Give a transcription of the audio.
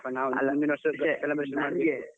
.